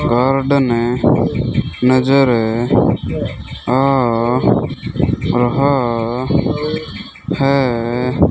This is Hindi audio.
गार्डन नजर आ रहा है।